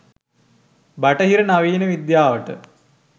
බටහිර නවීන විද්‍යාවට